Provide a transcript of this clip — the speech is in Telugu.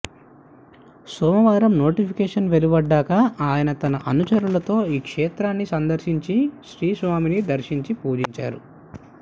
సోమవారం నోటిఫికేషన్ వెలువడ్డాక ఆయన తన అనుచరులతో ఈ క్షేత్రాన్ని సందర్శించి శ్రీ స్వామిని దర్శించి పూజించారు